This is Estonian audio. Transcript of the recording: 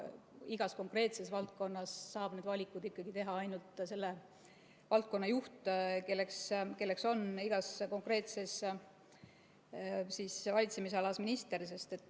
Igas konkreetses valdkonnas saab need valikud teha ikkagi ainult selle valdkonna juht, kelleks on igas konkreetses valitsemisalas minister.